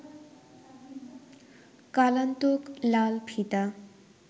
কালান্তক লাল ফিতা